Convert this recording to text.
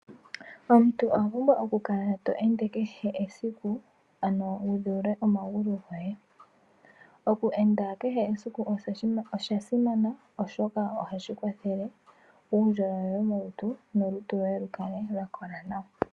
Omuntu owapumbwa okukala to ende kehe esiku ano wu dheule omagulu goye oku enda kehe esiku oshasimana oshoka ohashi kwathele uundjolowele womolutu nolutu lwoye likale lyakola nawa.